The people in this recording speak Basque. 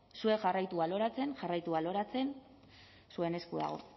zuek jarraitu baloratzen jarraitu baloratzen zuen esku dago